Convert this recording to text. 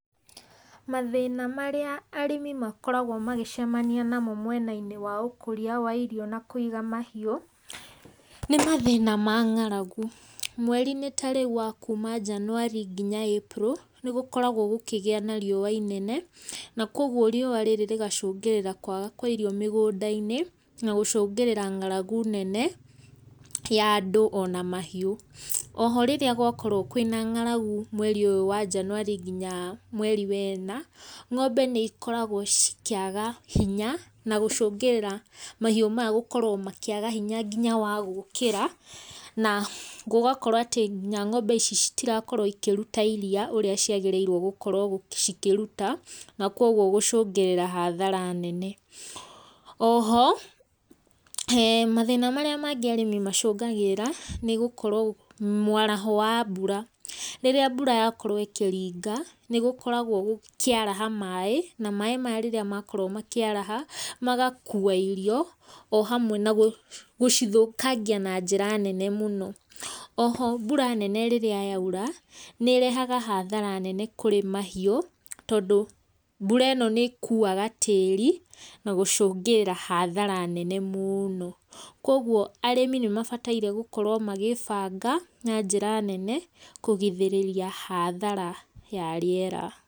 Mathĩna marĩa arĩmi makoragwo magĩcamania namo mwena-inĩ wa ũkũria wa irio na kũiga mahiũ, nĩ mathĩna ma ng'aragu. Mweri-inĩ ta rĩu wa kuuma January nginya April, nĩgũkoragwo gũkĩgĩa na rĩũa inene, na kogwo rĩũa rĩrĩ rĩgacũngĩrĩra kwaga kwa irio mĩgũnda-inĩ, na gũcũngĩrĩra ng'aragu nene ya andũ ona mahiũ. Oho rĩrĩa gwakorwo kwĩna ng'aragu mweri ũyũ wa January nginya mweri wena, ng'ombe nĩ ikoragwo cikĩaga hinya, na gũcũngĩrĩra mahiũ maya gũkorwo makĩaga hinya nginya wa gũkĩra. Na gũgakorwo atĩ nginya ng'ombe ici citirakorwo cikĩruta iria ũrĩa ciagĩrĩire gũkorwo cikĩruta, na kogwo gũcũngĩrĩra hathara nene. Oho, mathĩna marĩa mangĩ arĩmi macungagĩrĩra, nĩ gũkorwo mwaraho wa mbura. Rĩrĩa mbura yakorwo ĩkĩringa, nĩ gũkoragwo gũkĩaraha maaĩ, na maaĩ maya rĩrĩa makorwo makĩaraha magakua irio o hamwe na gũcithũkangia na njĩra nene mũno. Oho mbura nene rĩrĩa yaura, nĩ ĩrehaga hathara nene kurĩ mahiũ, tondũ mbura ĩno nĩ ĩkuaga tĩĩri na gũcũngĩrĩra hathara nene mũno. Kogwo arĩmi nĩ mabataire gũkorwo magĩĩbanga na njĩra nene kũgirĩrĩria hathara ya rĩera.